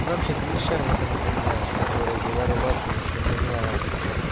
и вообще ты мне шерлока напоминаешь который говорил ватсону что не знает